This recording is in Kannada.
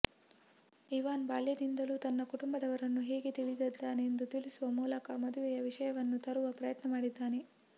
ಇವಾನ್ ಬಾಲ್ಯದಿಂದಲೂ ತನ್ನ ಕುಟುಂಬವನ್ನು ಹೇಗೆ ತಿಳಿದಿದ್ದಾನೆಂದು ತಿಳಿಸುವ ಮೂಲಕ ಮದುವೆಯ ವಿಷಯವನ್ನು ತರುವ ಪ್ರಯತ್ನ ಮಾಡುತ್ತಾನೆ